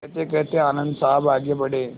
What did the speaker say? कहतेकहते आनन्द साहब आगे बढ़े